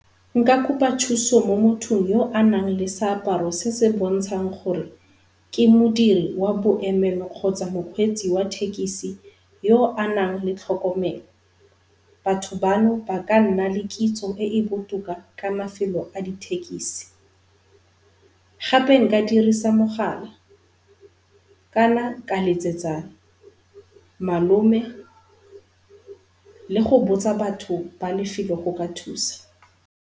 Nka kopa thuso mo mothong yo anang le seaparo se se bontshang gore ke modiri wa boemelo kgotsa mokgweetsi wa thekisi yo anang le tlhokomelo. Batho bano ba ka nna le kitso e e botoka ka mafelo a dithekisi. Gape nka dirisa mogala, kana ka letsetsa malome le go botsa batho ba lefelo go ka thusa.